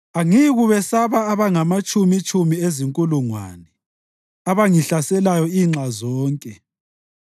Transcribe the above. Angiyikubesaba abangamatshumitshumi ezinkulungwane abangihlaselayo inxa zonke.